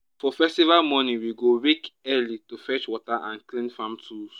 for festival morning we go wake early to fetch water and clean farm tools.